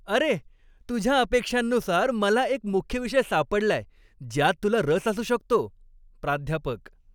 अरे, तुझ्या अपेक्षांनुसार मला एक मुख्य विषय सापडलाय. ज्यात तुला रस असू शकतो. प्राध्यापक